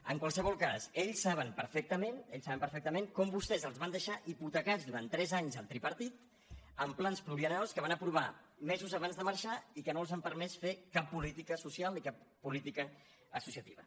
en qualsevol cas ells saben perfectament ells saben perfectament com vostès els van deixar hipotecats durant tres anys el tripartit amb plans pluriennals que van aprovar mesos abans de marxar i que no els han permès fer cap política social ni cap política associativa